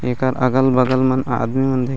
एकर अगल-बगल म आदमी मन देखत--